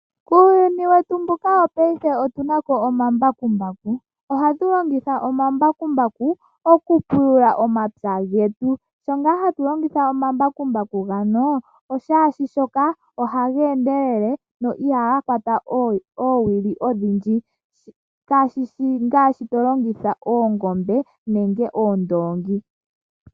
Kuuyunu wetu mbuka wopaife otuna ko omambakumbaku. Ohatu longitha omambakumbaku, oku pula omapya getu. Shampa ngaa hatu longitha omambakumbaku ngaka, omlwaashoka ohaga endelele, na ihaga kwata oowili odhindji, kashishi ngaashi to longitha oongombe, nenge oondoongi.